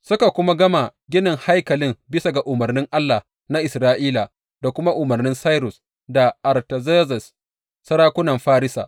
Suka kuma gama ginin haikalin bisa ga umarnin Allah na Isra’ila da kuma umarnin Sairus da Artazerzes, sarakunan Farisa.